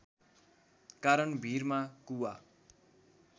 कारण भीरमा कुवा